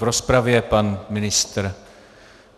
V rozpravě pan ministr.